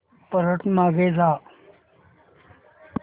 परत मागे जा